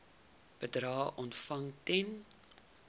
bedrae ontvang ten